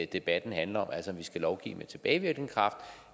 debatten handler om altså om vi skal lovgive med tilbagevirkende kraft